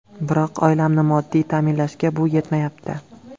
Biroq oilamni moddiy ta’minlashga bu yetmayapti.